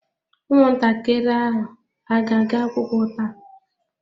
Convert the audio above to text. Ụmụntakịrị ahụ a ga-aga akwụkwọ taa?